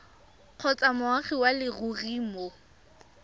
kgotsa moagi wa leruri mo